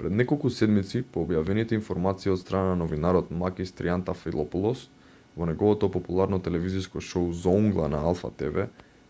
пред неколку седмици по објавените информации од страна на новинарот макис триантафилопулос во неговото популарно телевизиско шоу зоунгла на алфа тв